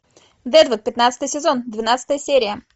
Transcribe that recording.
дедвуд пятнадцатый сезон двенадцатая серия